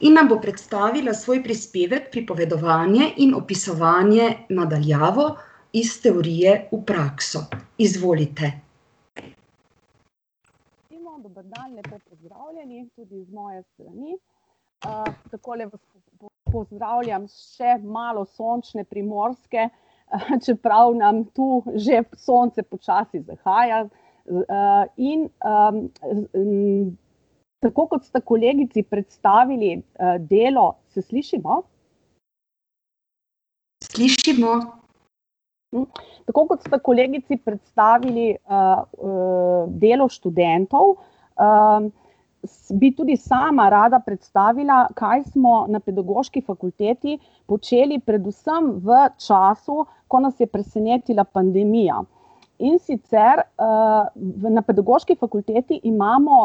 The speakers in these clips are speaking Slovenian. in nam bo predstavila svoj prispevek Pripovedovanje in opisovanje na daljavo: iz teorije v prakso. Izvolite. Dober dan, lepo pozdravljeni tudi z moje strani. takole vas pozdravljam s še malo sončne Primorske, čeprav nam tu že sonce počasi zahaja. in, tako kot sta kolegici predstavili, delo ... se slišimo? Slišimo. Tako kot sta kolegici predstavili, delo študentov, bi tudi sama rada predstavila, kaj smo na Pedagoški fakulteti počeli predvsem v času, ko nas je presenetila pandemija. In sicer, na Pedagoški fakulteti imamo,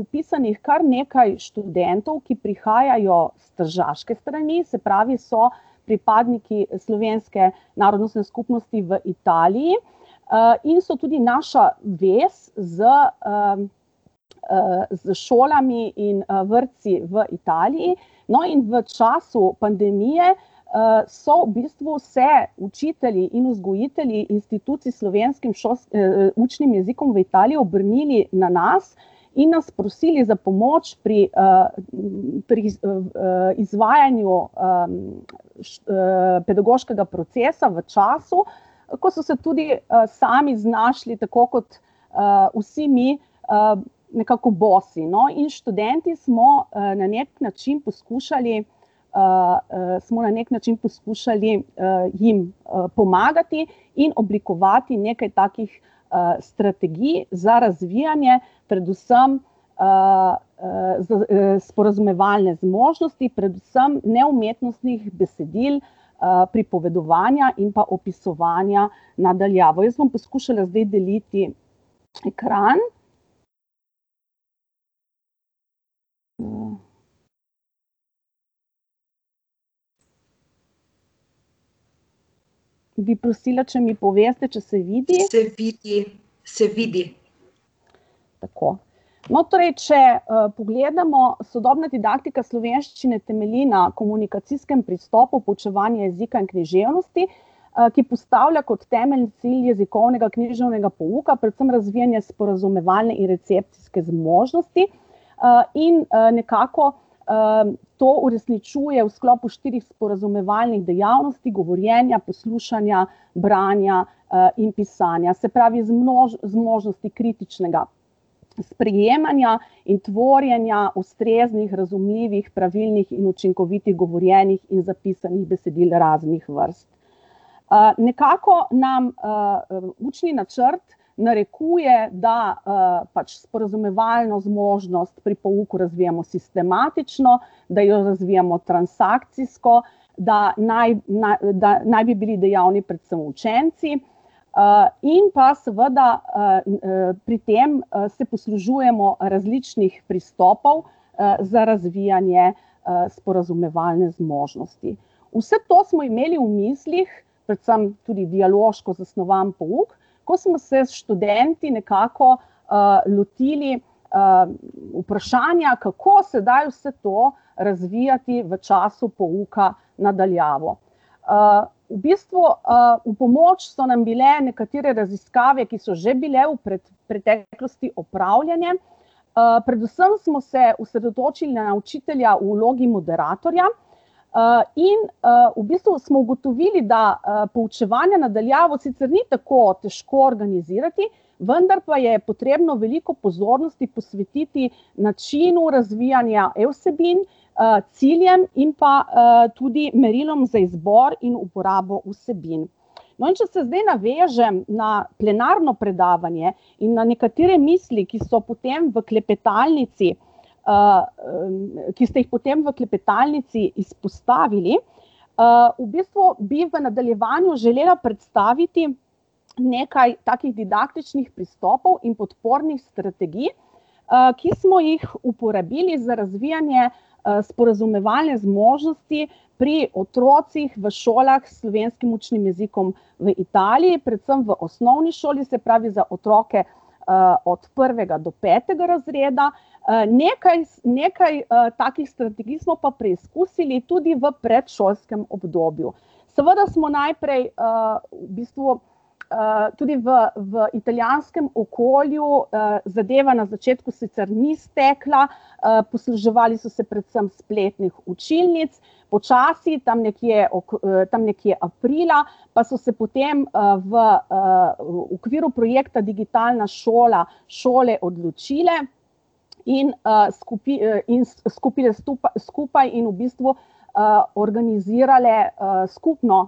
vpisanih kar nekaj študentov, ki prihajajo s tržaške strani, se pravi, so pripadniki slovenske narodnostne skupnosti v Italiji, in so tudi naša vez s, s šolami in, vrtci v Italiji. No, in v času pandemije, so v bistvu se učitelji in vzgojitelji institucij slovenskim učnim jezikom v Italiji obrnili na nas in nas prosili za pomoč pri, pri izvajanju, pedagoškega procesa v času, ko so se tudi, sami znašli, tako kot, vsi mi, nekako bosi, no, in študenti smo na neki način poskušali, smo na neki način poskušali, jim, pomagati in oblikovati nekaj takih, strategij za razvijanje predvsem, sporazumevalne zmožnosti, predvsem neumetnostnih besedil, pripovedovanja in pa opisovanja na daljavo. Jaz bom poskušala zdaj deliti ekran. ... Bi prosila, če mi poveste, če se vidi. Se vidi. Se vidi. Tako. No, torej če, pogledamo, sodobna didaktika slovenščine temelji na komunikacijskem pristopu poučevanja jezika in književnosti, ki postavlja kot temelj cilj jezikovnega književnega pouka, predvsem razvijanje sporazumevalne in recepcijske zmožnosti. in, nekako, to uresničuje v sklopu štirih sporazumevalnih dejavnosti: govorjenja, poslušanja, branja, in pisanja. Se pravi zmožnosti kritičnega sprejemanja in tvorjenja ustreznih, razumljivih, pravilnih in učinkovitih govorjenih in zapisanih besedil raznih vrst. nekako nam, učni načrt narekuje, da, pač sporazumevalno zmožnost pri pouku razvijamo sistematično, da jo razvijamo transakcijsko, da naj, da naj bi bili dejavni predvsem učenci, in pa seveda, pri tem se poslužujemo različnih pristopov, za razvijanje, sporazumevalne zmožnosti. Vse to smo imeli v mislih, predvsem tudi dialoško zasnovan pouk, ko smo se s študenti nekako, lotili, vprašanja, kako sedaj vse to razvijati v času pouka na daljavo. v bistvu, v pomoč so nam bile nekatere raziskave, ki so že bile v preteklosti opravljene, predvsem smo se osredotočili na učitelja v vlogi moderatorja, in, v bistvu smo ugotovili, da, poučevanje na daljavo sicer ni tako težko organizirati, vendar pa je potrebno veliko pozornosti posvetiti načinu razvijanja e-vsebin, ciljem in pa, tudi merilom za izbor in uporabo vsebin. No, in če se zdaj navežem na plenarno predavanje in na nekatere misli, ki so potem v klepetalnici, ki ste jih potem v klepetalnici izpostavili, v bistvu bi v nadaljevanju želela predstaviti nekaj takih didaktičnih pristopov in podpornih strategij, ki smo jih uporabili za razvijanje, sporazumevalne zmožnosti pri otrocih v šolah s slovenskim učnim jezikom v Italiji, predvsem v osnovni šoli, se pravi za otroke, od prvega do petega razreda. nekaj nekaj, takih strategij smo pa preizkusili tudi v predšolskem obdobju. Seveda smo najprej, v bistvu, tudi v, v italijanskem okolju, zadeva na začetku sicer ni stekla, posluževali so se predvsem spletnih učilnic, včasih, tam nekje tam nekje aprila, pa so se potem, v, okviru projekta Digitalna šola šole odločile in, skupaj in v bistvu, organizirale, skupno,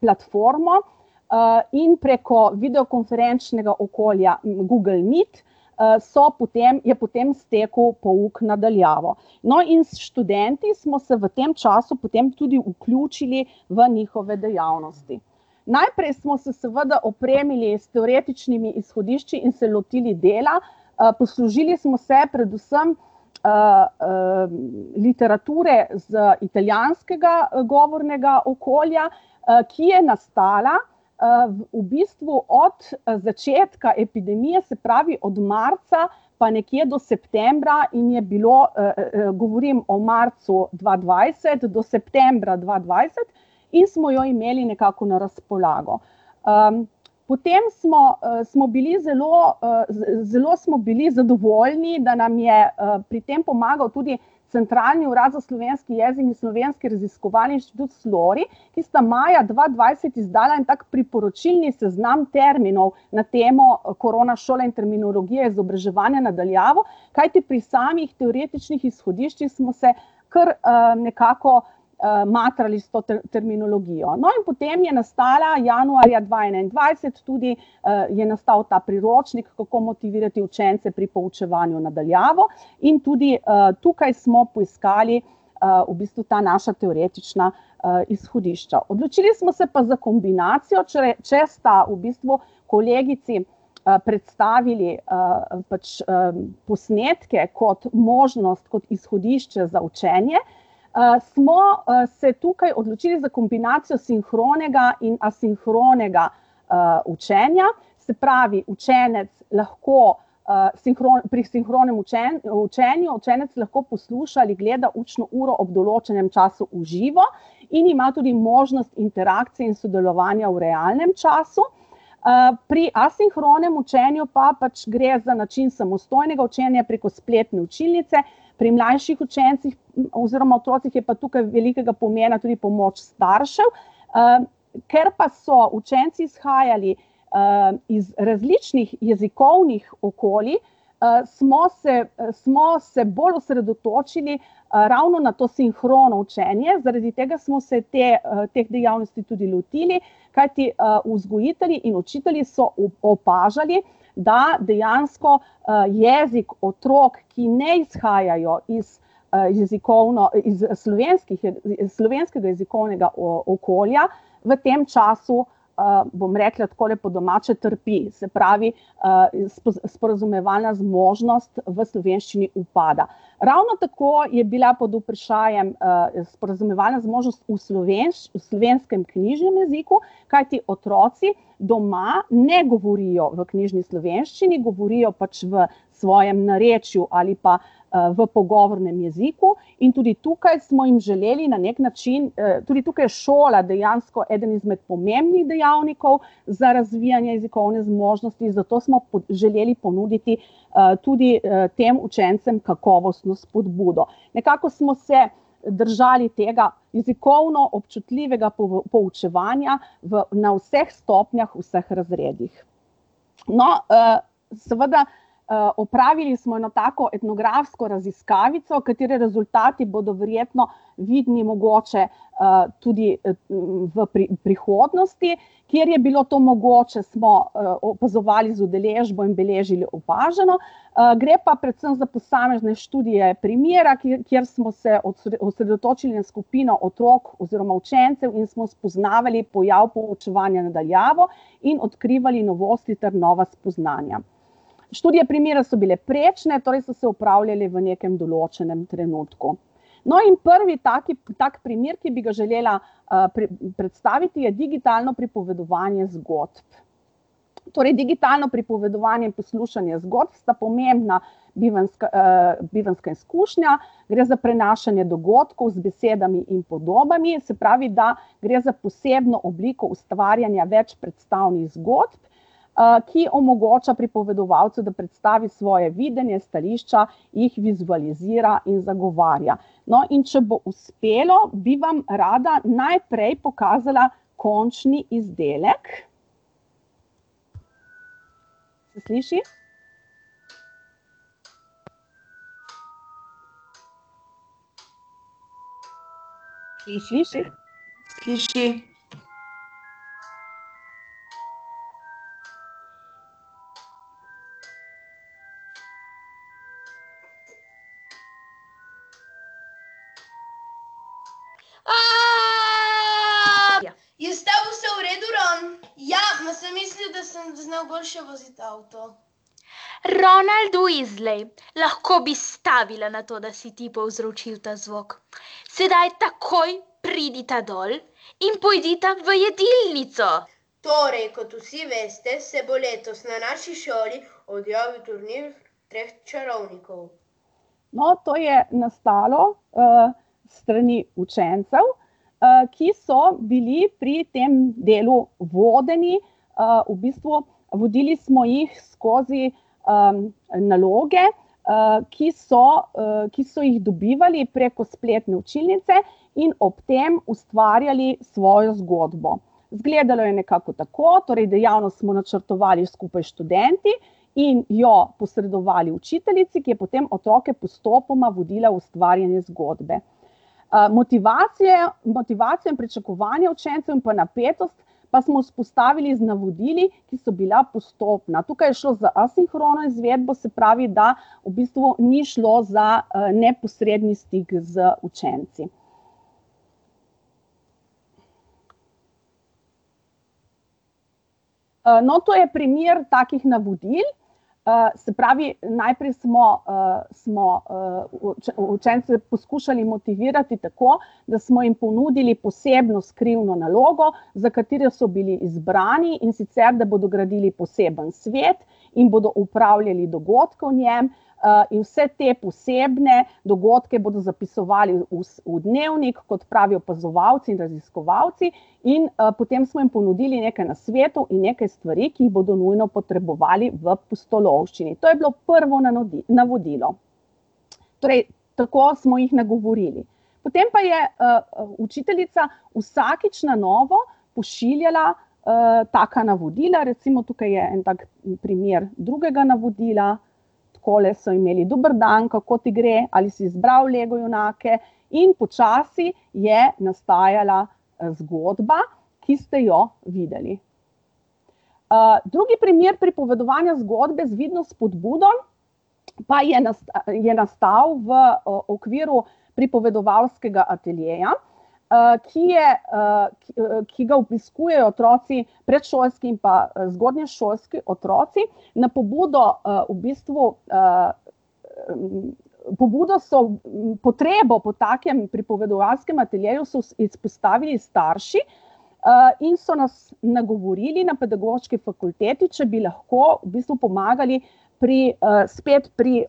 platformo, in preko videokonferenčnega okolja Google meet, so potem, je potem stekel pouk na daljavo. No, in s študenti smo se v tem času potem tudi vključili v njihove dejavnosti. Najprej smo se seveda opremili s teoretičnimi izhodišči in se lotili dela, poslužili smo se predvsem, literature iz italijanskega govornega okolja, ki je nastala, v bistvu od začetka epidemije, se pravi od marca pa nekje do septembra, in je bilo, govorim o marcu dva dvajset do septembra dva dvajset, in smo jo imeli nekako na razpolago. potem smo, smo bili zelo, zelo smo bili zadovoljni, da nam je, pri tem pomagal tudi Centralni urad za slovenski jezik in Slovenski raziskovalni inštitut Slori, ki sta maja dva dvajset izdala en tak priporočilni seznam terminov na temo koronašole in terminologije z izobraževanja na daljavo. Kajti pri samih teoretičnih izhodiščih smo se kar, nekako, matrali s to terminologijo. No, in potem je nastala januarja dva enaindvajset tudi, je nastal tudi priročnik, kako motivirati učence pri poučevanju na daljavo, in tudi, tukaj smo poiskali, v bistvu ta naša teoretična, izhodišča. Odločili smo se pa za kombinacije, če sta v bistvu kolegici, predstavili, pač posnetke kot možnost, kot izhodišče za učenje, smo, se tukaj odločili za kombinacijo sinhronega in asinhronega, učenja. Se pravi, učenec lahko, pri sinhronem učenju učenec lahko posluša ali gleda učno uro ob določenem času v živo in ima tudi možnost interakcije in sodelovanja v realnem času. pri asinhronem učenju pa pač gre za način samostojnega učenja preko spletne učilnice, pri mlajših učencih oziroma otrocih je pa tukaj velikega pomena tudi pomoč staršev. ker pa so učenci izhajali, iz različnih jezikovnih okolij, smo se, smo se bolj osredotočili, ravno na to sinhrono učenje, zaradi tega smo se te, te dejavnosti tudi lotili, kajti, vzgojitelji in učitelji so opažali, da dejansko, jezik otrok, ki ne izhajajo iz, jezikovno slovenske, slovenskega jezikovnega okolja, v tem času, bom rekla takole po domače, trpi, se pravi, sporazumevalna zmožnost v slovenščini upada. Ravno tako je bila pod vprašajem, sporazumevalna zmožnost v slovenskem knjižnem jeziku, kajti otroci doma ne govorijo v knjižni slovenščini, govorijo pač v svojem narečju ali pa, v pogovornem jeziku, in tudi tukaj smo jim želeli na neki način, ... Tudi tukaj je šola dejansko eden izmed pomembnih dejavnikov za razvijanje jezikovne zmožnosti, zato smo želeli ponuditi, tudi, tem učencem kakovostno spodbudo. Nekako smo se držali tega jezikovno občutljivega poučevanja v, na vseh stopnjah v vseh razredih. No, seveda, opravili smo eno tako etnografsko raziskavico, katere rezultati bodo verjetno vidni mogoče, tudi, v prihodnosti. Kjer je bilo to mogoče, smo, opazovali z udeležbo in beležili opaženo, gre pa predvsem za posamezne študije primera, kjer smo se osredotočili na skupino otrok oziroma učencev in smo spoznavali pojav poučevanja na daljavo in odkrivali novosti ter nova spoznanja. Študije primera so bile prečne, torej so se opravljale v nekem določenem trenutku. No, in prvi tak, tak primer, ki bi ga želela, predstaviti, je digitalno pripovedovanje zgodb. Torej digitalno pripovedovanje in poslušanje zgodb sta pomembna bivanjska, bivanjska izkušnja. Gre za prenašanje dogodkov z besedami in podobami, se pravi, da gre za posebno obliko ustvarjanja večpredstavnih zgodb, ki omogoča pripovedovalcu, da predstavi svoje videnje, stališča, jih zvizualizira in zagovarja. No, in če bo uspelo, bi vam rada najprej pokazala končni izdelek. Se sliši? Sliši. No, to je nastalo, s strani učencev, ki so bili pri tem delu vodeni, v bistvu, vodili smo jih skozi, naloge, ki so, ki so jih dobivali preko spletne učilnice in ob tem ustvarjali svojo zgodbo. Izgledalo je nekako tako, torej dejavnost smo načrtovali skupaj s študenti in jo posredovali učiteljici, ki je potem otroke postopoma vodila v ustvarjanju zgodbe. motivacija, motivacijo in pričakovanja učencev in pa napetost pa smo vzpostavili z navodili, ki so bila postopna, tukaj je šlo za asinhrono izvedbo, se pravi, da v bistvu ni šlo za, neposredni stik z učenci. no, to je primer takih navodil, se pravi, najprej smo, smo, učence poskušali motivirati tako, da smo jim ponudili posebno skrivno nalogo, za katero so bili izbrani, in sicer da bodo gradili poseben svet in bodo upravljali dogodke v njem, in vse te posebne dogodke bodo zapisovali v dnevnik kot pravi opazovalci in raziskovalci. In, potem smo jim ponudili nekaj nasvetov in nekaj stvari, ki jih bodo nujno potrebovali v pustolovščini, to je bilo prvo navodilo. Torej tako smo jih nagovorili. Potem pa je, učiteljica vsakič na novo pošiljala, taka navodila, recimo tukaj je en tak primer drugega navodila, takole so imeli: "Dober dan, kako ti gre? Ali si izbral Lego junake?" In počasi je nastajala, zgodba, ki ste jo videli. drugi primer pripovedovanja zgodbe z vidno spodbudo pa je je nastal v, okviru pripovedovalskega ateljeja, ki je, ki ga obiskujejo otroci, predšolski in pa zgodnješolski otroci. Na pobudo, v bistvu, pobudo so, potrebo po takem pripovedovalskem ateljeju so izpostavili starši, in so nas nagovorili na Pedagoški fakulteti, če bi lahko v bistvu pomagali pri, spet pri,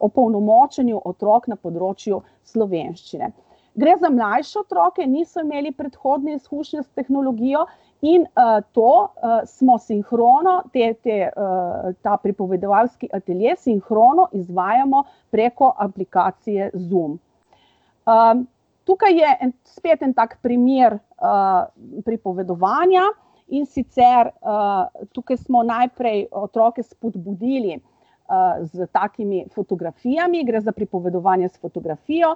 opolnomočenju otrok na področju slovenščine. Gre za mlajše otroke, niso imeli predhodne izkušnje s tehnologijo in, to, smo sinhrono, te, te, ta pripovedovalski atelje sinhrono izvajamo preko aplikacije Zoom. tukaj je spet en tak primer, pripovedovanja, in sicer, tukaj smo najprej otroke spodbudili, s takimi fotografijami, gre za pripovedovanje s fotografijo.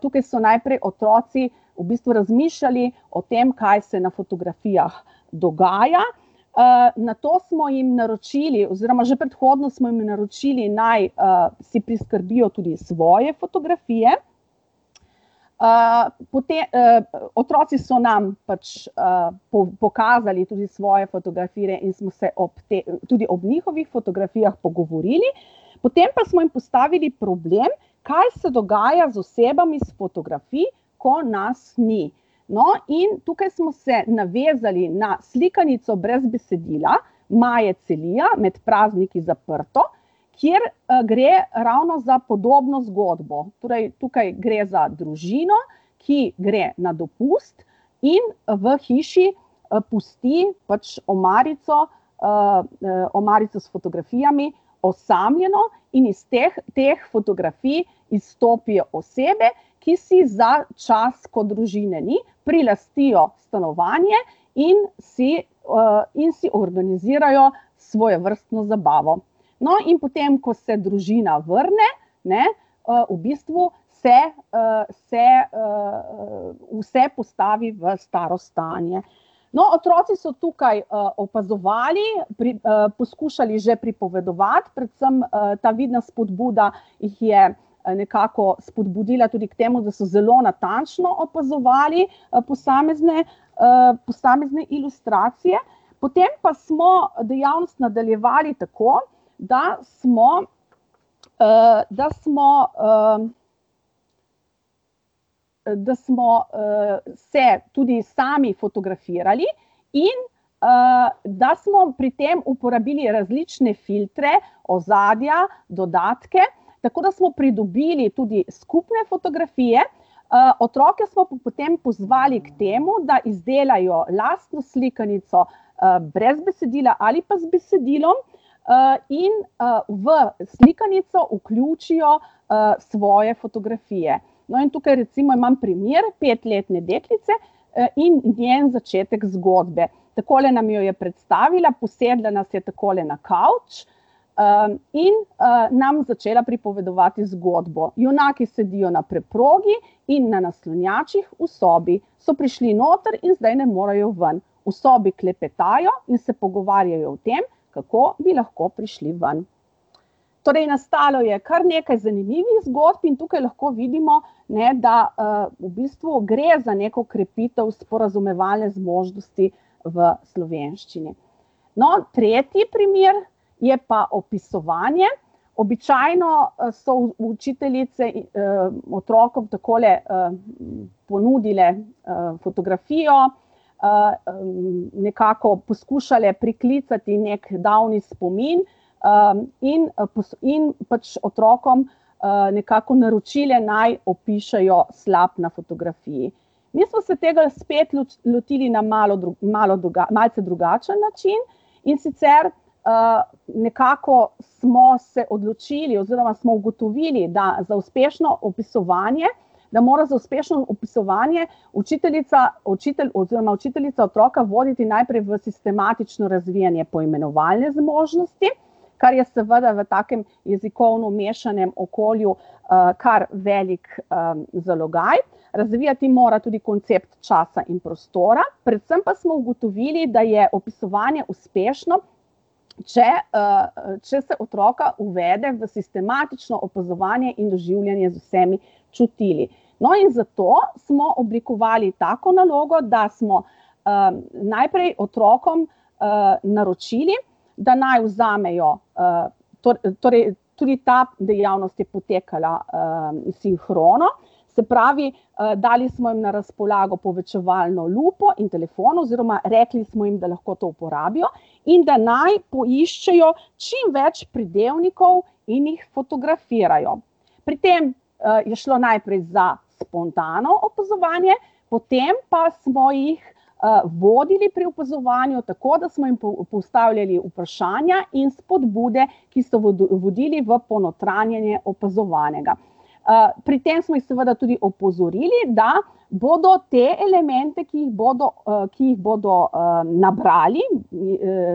tukaj so najprej otroci v bistvu razmišljali o tem, kaj se na fotografijah dogaja, nato smo jim naročili oziroma že predhodno smo jim naročili, naj, si priskrbijo tudi svoje fotografije, otroci so nam pač, pokazali tudi svoje fotografije in smo se ob tem tudi ob njihovih fotografijah pogovorili, potem pa smo jim postavili problem, kaj se dogaja z osebami s fotografij, ko nas ni. No, in tukaj smo se navezali na slikanico brez besedila Maje Celija Med prazniki zaprto, kjer, gre ravno za podobno zgodbo. Torej tukaj gre za družino, ki gre na dopust in v hiši, pusti pač omarico, omarico s fotografijami, osamljeno, in iz teh, teh fotografij izstopijo osebe, ki si za čas, ko družine ni, prilastijo stanovanje in si, in si organizirajo svojevrstno zabavo. No, in potem ko se družina vrne, ne, v bistvu se, se, vse postavi v staro stanje. No, otroci so tukaj, opazovali poskušali že pripovedati, predvsem, ta vidna spodbuda jih je, nekako spodbudila tudi k temu, da so zelo natančno opazovali, posamezne, posamezne ilustracije, potem pa smo dejavnost nadaljevali tako, da smo, da smo, ... da smo, se tudi sami fotografirali in, da smo pri tem uporabili različne filtre, ozadja, dodatke, tako da smo pridobili tudi skupne fotografije. otroke smo pa potem pozvali k temu, da izdelajo lastno slikanico, brez besedila ali pa z besedilom, in, v slikanico vključijo, svoje fotografije. No, in tukaj recimo imam primer petletne deklice, in njen začetek zgodbe. Takole nam jo predstavila, posedla nas je takole na kavč, in, nam začela pripovedovati zgodbo. Junaki sedijo na preprogi in na naslonjačih v sobi. So prišli noter in zdaj ne morejo ven. V sobi klepetajo in se pogovarjajo o tem, kako bi lahko prišli ven. Torej nastalo je kar nekaj zanimivih zgodb in tukaj lahko vidimo, ne, da, v bistvu gre za neko krepitev sporazumevalne zmožnosti v slovenščini. No, tretji primer je pa opisovanje, običajno, so učiteljice, otrokom takole, ponudile, fotografijo, nekako poskušale priklicati neki davni spomin, in, in pač otrokom, nekako naročile, naj opišejo slap na fotografiji. Mi smo se tega spet lotili na malo malo malce drugačen način, in sicer, nekako smo se odločili oziroma smo ugotovili, da za uspešno opisovanje ... Da mora za uspešno opisovanje učiteljica, učitelj oziroma učiteljica otroka voditi najprej v sistematično razvijanje poimenovalne zmožnosti, kar je seveda v takem jezikovno mešanem okolju, kar velik, zalogaj. Razvijati mora tudi koncept časa in prostora, predvsem pa smo ugotovili, da je opisovanje uspešno, če, če se otroka uvede v sistematično opazovanje in doživljanje z vsemi čutili. No, in zato smo oblikovali tako nalogo, da smo, najprej otrokom, naročili, da naj vzamejo, torej tudi ta dejavnost je potekala, sinhrono. Se pravi, dali smo jim na razpolago povečevalno lupo in telefon oziroma rekli smo jim, da lahko to uporabijo in da naj poiščejo čim več pridevnikov in jih fotografirajo. Pri tem, je šlo najprej za spontano opazovanje, potem pa smo jih, vodili pri opazovanju tako, da smo jih postavljali vprašanja in spodbude, ki so vodili v ponotranjanje opazovanega. pri tem smo jih seveda tudi opozorili, da bodo te elemente, ki jih bodo, ki jih bodo, nabrali,